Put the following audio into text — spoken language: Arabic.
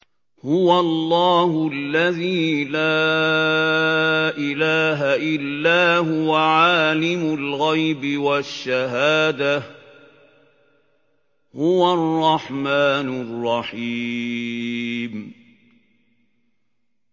هُوَ اللَّهُ الَّذِي لَا إِلَٰهَ إِلَّا هُوَ ۖ عَالِمُ الْغَيْبِ وَالشَّهَادَةِ ۖ هُوَ الرَّحْمَٰنُ الرَّحِيمُ